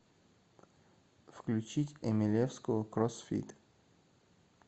включить эмелевскую кроссфит